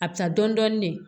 A bɛ taa dɔɔnin dɔɔnin ne